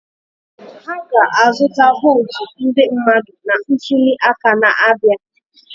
Ha ga-azụta votu ndị mmadụ na ntuli aka na-abịa.